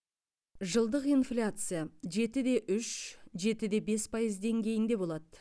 жылдық инфляция жеті де үш жеті де бес пайыз деңгейінде болады